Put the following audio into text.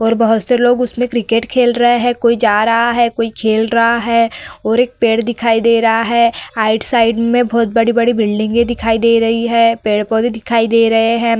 और बहोत से लोग उसमें क्रिकेट खेल रहे हैं। कोई जा रहा है। कोई खेल रहा है और एक पेड़ दिखाई दे रहा है। राईट साइड में बड़ी-बड़ी बिल्डिंगें दिखाई दे रही हैं। पेड़-पौधे दिखाई दे रहे हैं।